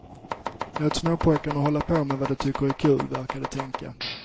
Låt småpojkarna hålla på med det de tycker är kul, verkade de tänka.